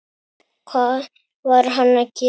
Hvað var hann að gera?